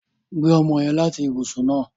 Gbé ọmọ yẹn láti ibùsùn náà!